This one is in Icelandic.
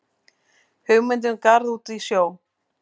Hugmyndir um garð út í sjó